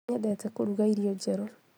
Nĩnyendete kũruga irio njerũ